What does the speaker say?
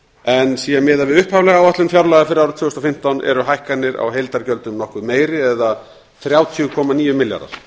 en sé miðað við upphaflega áætlun fjárlaga fyrir árið tvö þúsund og fimmtán eru hækkanir á heildarútgjöldum nokkuð meiri eða þrjátíu komma níu milljarðar